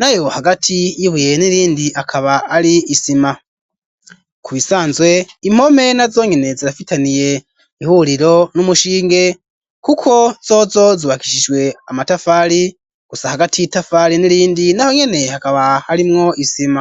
nayo hagati yibuye n'irindi akaba ali isima ku bisanzwe impome na zonyene zirafitaniye ihuriro n'umushinge nkuko zozo zubakishijwe amatafari gusa hagati itafari n'irindi naho nyene hakaba arimwo isima.